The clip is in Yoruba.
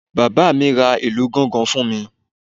Bàbá mi ra ìlù gangan fún mi